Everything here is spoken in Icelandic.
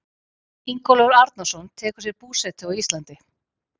Ingólfur Arnarson tekur sér búsetu á Íslandi.